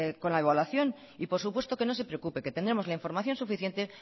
con la evaluación y por supuesto no se preocupe que tendremos la información suficiente